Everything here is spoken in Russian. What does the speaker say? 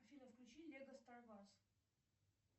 афина включи лего стар варс